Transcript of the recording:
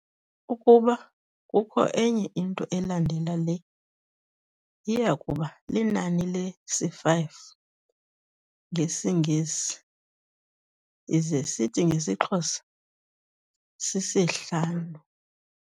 Ukuba kukho enye into elandela le iyakuba linani lesi 'five' ngesiNgesi, ize sithi ngesiXhosa si-sihlanu.